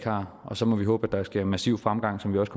har og så må vi håbe at der sker massiv fremgang som vi også